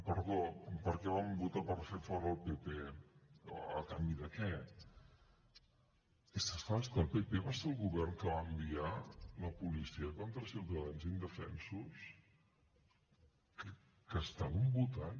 perdó per què van votar per fer fora el pp o a canvi de què és que és clar és que el pp va ser el govern que va enviar la policia contra ciutadans indefensos que estaven votant